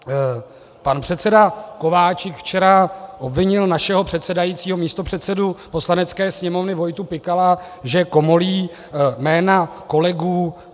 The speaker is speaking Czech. Pan předseda Kováčik včera obvinil našeho předsedajícího, místopředsedu Poslanecké sněmovny Vojtu Pikala, že komolí jména kolegů.